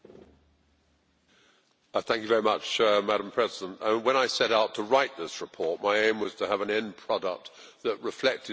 Madam President, when I set out to write this report, my aim was to have an end product that reflected the reality of the situation and was useful.